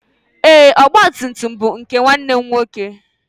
Ee, ọgba tum tum bụ nwanne m nwoke.